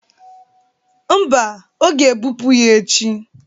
Mba, a ga-ebụpu ya echi.